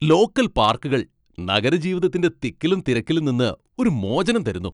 Local പാർക്കുകൾ നഗരജീവിതത്തിന്റെ തിക്കിലും തിരക്കിലും നിന്ന് ഒരു മോചനം തരുന്നു.